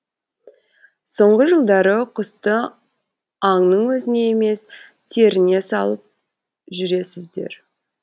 соңғы жылдары құсты аңның өзіне емес теріне салып жүресіздер